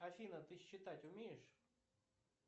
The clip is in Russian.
афина ты считать умеешь